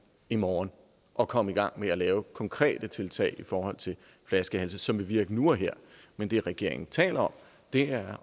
i morgen og komme i gang med at lave konkrete tiltag i forhold til flaskehalse som vil virke nu og her men det regeringen taler om er